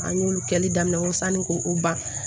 An y'olu kɛli daminɛ ko sanni ko o ban